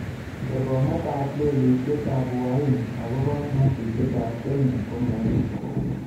Kerkong'ietab lelutiet ab Uhaini akobo ng'atutikab Kenya ko meet